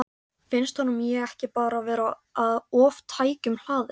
Finnst honum ég ekki bara vera of tækjum hlaðin?